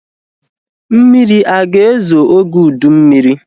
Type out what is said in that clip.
Mmiri aga ezo oge ụdị mmiri?